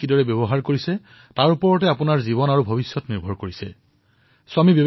আপোনাৰ ভৱিষ্যত আৰু আপোনাৰ জীৱন আপুনি নিজৰ যুৱাৱস্থা কিদৰে অতিবাহিত কৰিছে তাৰ ওপৰত নিৰ্ভৰ কৰে